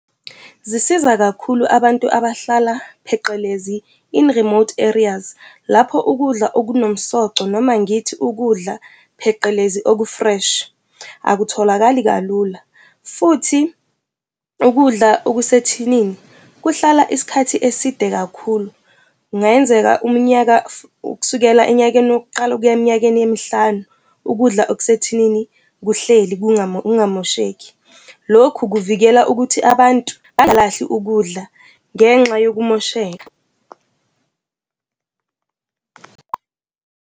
Zisiza kakhulu abantu abahlala, pheqelezi, in remote areas, lapho ukudla okunomsoco noma ngithi ukudla, pheqelezi, oku-fresh, akutholakali kalula. Futhi ukudla okusethinini kuhlala isikhathi eside kakhulu, kungayenzeka umnyaka kusukela enyakeni wokuqala ukuya eminyakeni emihlanu, ukudla okusethinini kuhleli kungamosheki. Lokhu kuvikela ukuthi abantu bangalahli ukudla ngenxa yokumosheka.